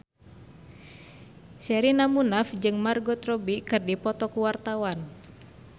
Sherina Munaf jeung Margot Robbie keur dipoto ku wartawan